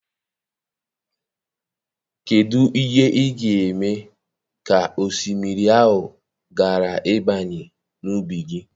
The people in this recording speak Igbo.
Kedụ ịhe ị ga-eme ka osimiri ahụ ghara ịbanye n'ubi gị?